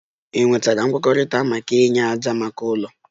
Ị nwetara nkwekọrịta maka inye ájá maka ụlọ?